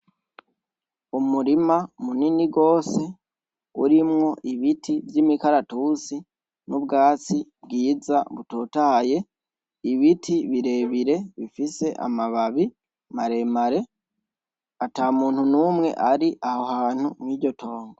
Umurima munini gose urimwo ibiti vy'imikaratusi n'ubwatsi bwiza butotahaye ibiti birebire bifise amababi maremare ata muntu numwe ari aho hantu muri iryo tongo.